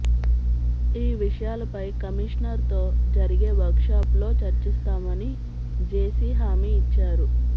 ఈ విషయాలపై కమిషనర్తో జరిగే వర్క్ షాపులో చర్చిస్తామని జేసీ హామీ ఇచ్చారు